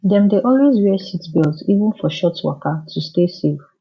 dem dey always wear seatbelt even for short waka to stay safe